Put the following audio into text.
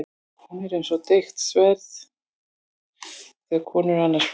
Hún er eins og deigt sverð þegar konur eru annars vegar.